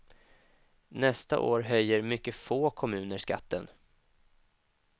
Nästa år höjer mycket få kommuner skatten.